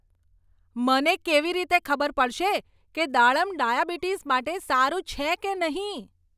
મને કેવી રીતે ખબર પડશે કે દાડમ ડાયાબિટીસ માટે સારું છે કે નહીં?